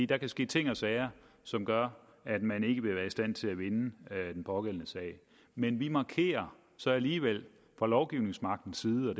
der kan ske ting og sager som gør at man ikke vil være i stand til at vinde den pågældende sag men vi markerer så alligevel fra lovgivningsmagtens side og